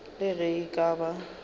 le ge e ka ba